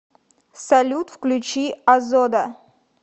салют включи озода